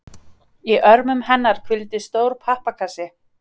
Í örmum hennar hvíldi stór pappakassi.